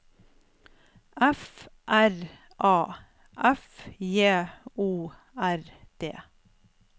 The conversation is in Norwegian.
F R A F J O R D